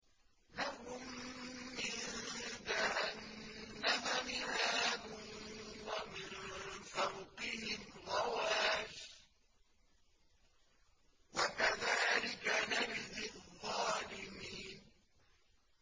لَهُم مِّن جَهَنَّمَ مِهَادٌ وَمِن فَوْقِهِمْ غَوَاشٍ ۚ وَكَذَٰلِكَ نَجْزِي الظَّالِمِينَ